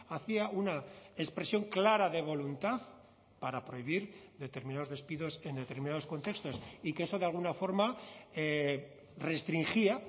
hacía una expresión clara de voluntad para prohibir determinados despidos en determinados contextos y que eso de alguna forma restringía